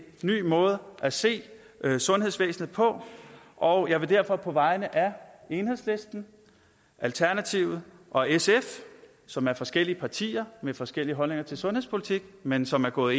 ny måde at se sundhedsvæsenet på og jeg vil derfor på vegne af enhedslisten alternativet og sf som er forskellige partier med forskellige holdninger til sundhedspolitik men som er gået